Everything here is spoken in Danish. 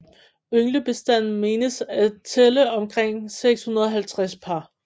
Ynglebestanden menes at tælle omkring 650 par